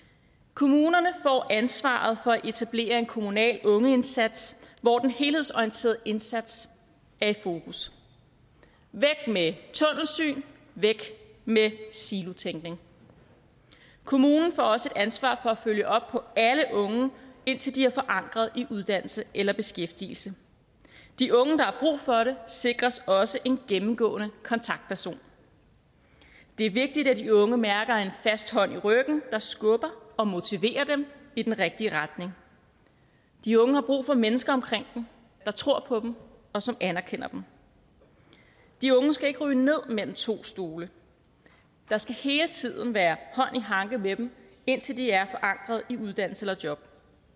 kommunerne får ansvaret for at etablere en kommunal ungeindsats hvor den helhedsorienterede indsats er i fokus væk med tunnelsyn væk med silotænkning kommunen får også et ansvar for at følge op på alle unge indtil de er forankret i uddannelse eller beskæftigelse de unge der har for det sikres også en gennemgående kontaktperson det er vigtigt at de unge mærker en fast hånd i ryggen der skubber og motiverer dem i den rigtige retning de unge har brug for mennesker omkring dem der tror på dem og som anerkender dem de unge skal ikke falde ned mellem to stole der skal hele tiden være hånd i hanke med dem indtil de er forankret i uddannelse eller job